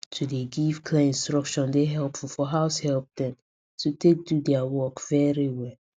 to dey give clear instructions dey helpful for househelps dem to take do dia work very well